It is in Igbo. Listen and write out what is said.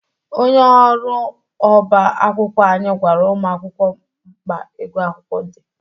Onye ọrụ ọba akwụkwọ anyị gwara ụmụ akwụkwọ mkpa ịgụ akwụkwọ dị.